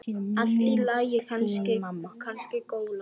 Allt í lagi, kannski golan.